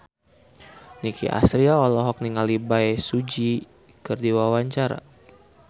Nicky Astria olohok ningali Bae Su Ji keur diwawancara